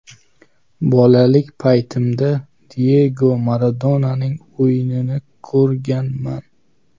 Bolalik paytimda Diyego Maradonaning o‘yinini ko‘rganman.